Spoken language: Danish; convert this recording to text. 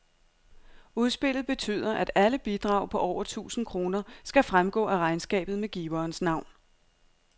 Udspillet betyder, at alle bidrag på over tusind kroner skal fremgå af regnskabet med giverens navn.